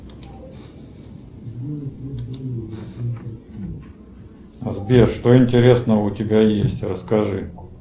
сбер что интересного у тебя есть расскажи